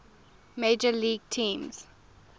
major league teams